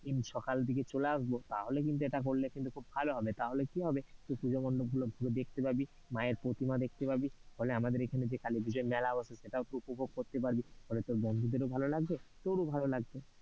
সকালের দিকে চলে আসবো, তাহলে কিন্তু এটা খুব ভালো হবে তাহলে কি হবে তুই পূজা মন্ডপ গুলো ঘুরে দেখতে পাবি, মায়ের প্রতিমা দেখতে পাবি ফলে আমাদের এখানে যে কালী পুজোর মেলা বসে সেটাও তুই উপভোগ করতে পারবি, ফলে তোর বন্ধুদেরও ভালো লাগবে তোরও ভালো লাগবে।